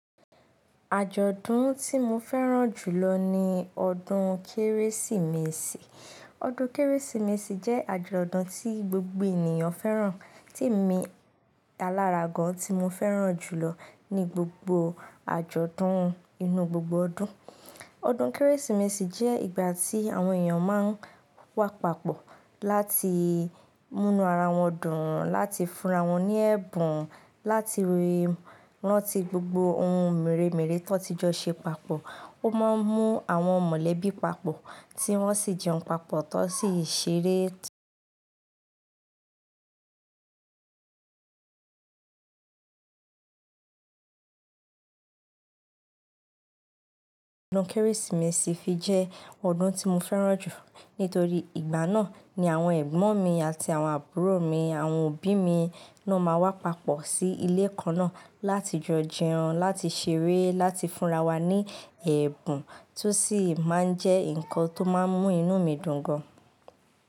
Àjọ̀dún tí mo fẹ́ràn jùlọ ni ọdún Kérésìmesì. Ọdún Kérésìmesì jẹ́ àjọ̀dún tí gbogbo ènìyàn fẹ́ràn, tí èmi alára gan ti mo fẹ́ràn jùlọ ní gbogbo àjọ̀dún inú gbogbo ọdún. Ọdún Kérésìmesì jẹ́ ìgbà tí àwọn èèyàn máa ń wá papọ̀ láti múnu ara wọn dùn, láti fúnra wọn ní ẹ̀bùn, láti ranti gbogbo ohun mèremère tó ti jọ ṣe papọ̀. Ó máa ń mú àwọn mọ̀lẹ́bí papọ̀ tí wọ́n sì jẹun papọ̀, tó sì ṣeré. Ọdún Kérésìmesì fi jẹ́ ọdún tí mo fẹ́ràn jù nítorí ìgbà náà ni àwọn ẹ̀gbọ́n mi àti àwọn àbúrò mi, àwọn òbí mi ló máa wá papọ̀ sí ilé kan náà láti jo jẹun, láti ṣeré, láti fúnra wa ní ẹ̀bùn tó sì máa ń jẹ́ nǹkan tó máa ń mú inú mi dùn gan.